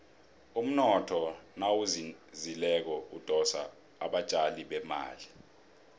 umnotho nawuzinzileko udosa abatjali bemali